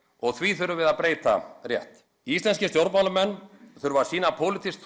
og því þurfum við að breyta rétt íslenskir stjórnmálamenn þurfa að sýna pólitískt